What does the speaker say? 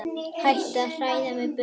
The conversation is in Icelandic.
Hættu að hræða mig burt.